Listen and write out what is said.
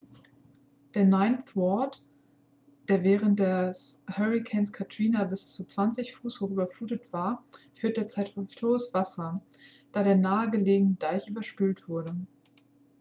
der ninth ward der während des hurrikans katrina bis zu 20 fuß hoch überflutet war führt derzeit hüfthohes wasser da der nahe gelegene deich überspült wurde